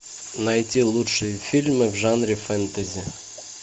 найти лучшие фильмы в жанре фэнтези